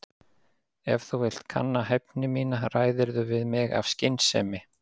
Ef þú vilt kanna hæfni mína ræðirðu við mig af skynsemi.